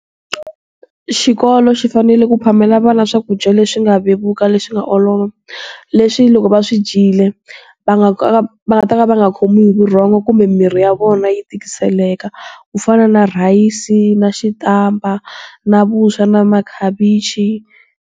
Xikolo xi fanele ku phamela vana swakudya leswi nga vevuka leswi nga olova. Leswi loko va swi dyile, va nga ka va nga ta ka va nga khomiwi hi vurhongo kumbe mirhi ya vona yi tikiseleka. Ku fana na rhayisi, na xitampa na vuswa, na makhavichi.